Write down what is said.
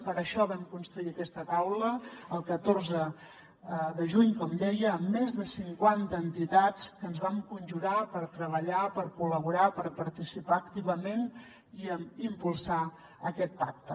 per això vam construir aquesta taula el catorze de juny com deia amb més de cinquanta entitats que ens vam conjurar per treballar per col·laborar per participar activament i impulsar aquest pacte